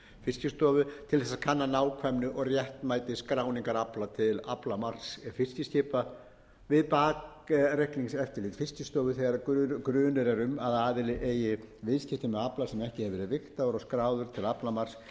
fiskistofu til að kanna nákvæmni og réttmæti skráningar afla til aflamarks fiskiskipa við bakreikningseftirlit fiskistofu þegar grunur er um að aðili eigi viðskipti með afla sem ekki hafi verið vigtaður og skráður til aflamarks